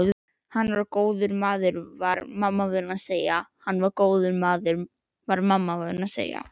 Hann var góður maður var mamma vön að segja.